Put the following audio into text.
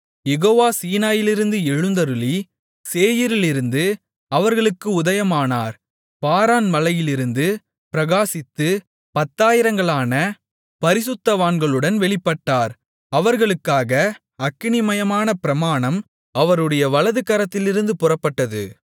யெகோவா சீனாயிலிருந்து எழுந்தருளி சேயீரிலிருந்து அவர்களுக்கு உதயமானார் பாரான் மலையிலிருந்து பிரகாசித்து பத்தாயிரங்களான பரிசுத்தவான்களுடன் வெளிப்பட்டார் அவர்களுக்காக அக்கினிமயமான பிரமாணம் அவருடைய வலதுகரத்திலிருந்து புறப்பட்டது